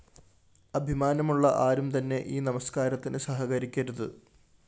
അഭിമാനമുള്ള ആരും തന്നെ ഈ നമസ്‌കാരത്തിന് സഹകരിക്കരുത്